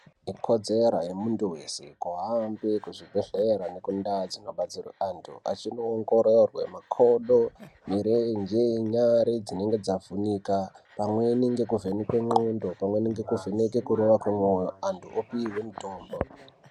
Ikodzero yemuntu wese kuhamba kuzvibhedhlera nekundau dzinobetserwe antu achinoongororwe makodo ,mirenje, nyari dzinenge dzavhunika, pamweni nekuvhenekwe qondo, pamweni nekuvheneke kurova kwemoyo antu opihwe mutombo.